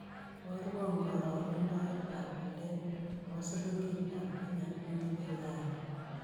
Iborwon karogendoetap walet nebo silingiitap kenya ak nebo uganda